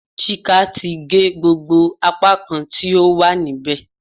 Chika ti ge gbogbo apakan ti o wa nibẹ